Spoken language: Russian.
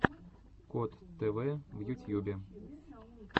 кот тв в ютьюбе